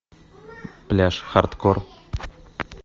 пляж хардкор